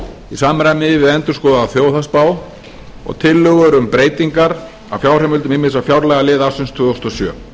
samræmi við endurskoðaða þjóðhagsspá og tillögur um breytingar á fjárheimildum ýmissa fjárlagaliða ársins tvö þúsund og sjö